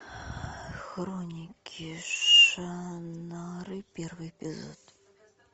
хроники шаннары первый эпизод